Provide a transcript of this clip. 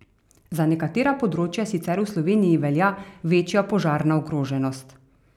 Za nekatera področja sicer v Sloveniji velja večja požarna ogroženost.